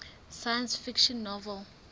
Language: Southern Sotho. science fiction novel